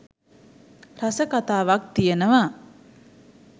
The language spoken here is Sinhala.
රස කතාවක් තියෙනවා.